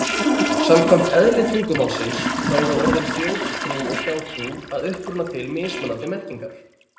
Samkvæmt eðli tungumálsins, þá eru orðin þjóðtrú og hjátrú að uppruna til mismunandi merkingar.